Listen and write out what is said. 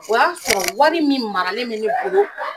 O y'a sɔrɔ wari min maralen mɛ ne bolo